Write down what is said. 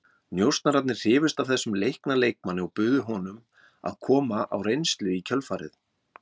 Njósnararnir hrifust af þessum leikna leikmanni og buðu honum að koma á reynslu í kjölfarið.